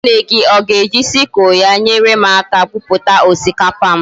Nwanne gi oga eji sickle ya enyerem aka buputa osikapa m?